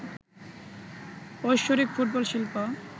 ঐশ্বরিক ফুটবল শিল্প